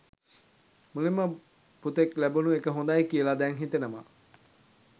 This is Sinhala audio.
මුලින්ම පුතෙක් ලැබුණු එක හොඳයි කියලා දැන් හිතෙනවා.